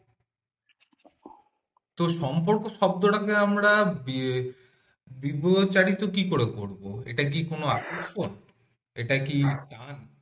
তো সম্পর্ক শব্দটাকে আমরা আহ